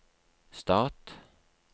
stat